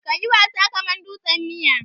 Ka yi wasa kaman dutsen miya.